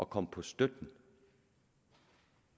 komme på støtten